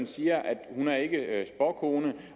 siger ikke er spåkone